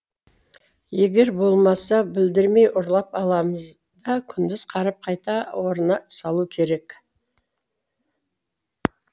егер болмаса білдірмей ұрлап аламыз да күндіз қарап қайта орнына салу керек